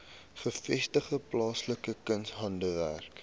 gevestigde plaaslike kunshandwerkers